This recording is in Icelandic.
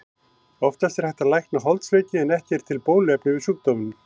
Oftast er hægt að lækna holdsveiki en ekki er til bóluefni við sjúkdómnum.